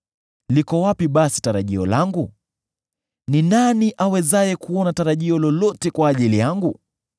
liko wapi basi tarajio langu? Ni nani awezaye kuona tarajio lolote kwa ajili yangu?